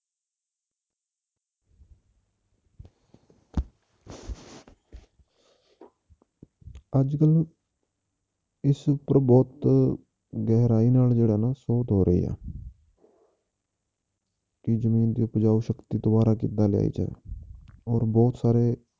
ਅੱਜ ਕੱਲ੍ਹ ਇਸ ਉੱਪਰ ਬਹੁਤ ਗਹਿਰਾਈ ਨਾਲ ਜਿਹੜਾ ਨਾ ਸੋਧ ਹੋ ਰਹੀ ਹੈ ਕਿ ਜ਼ਮੀਨ ਦੀ ਉਪਜਾਊ ਸ਼ਕਤੀ ਦੁਬਾਰਾ ਕਿੱਦਾਂ ਲਿਆਈ ਜਾਵੇ ਹੋਰ ਬਹੁਤ ਸਾਰੇ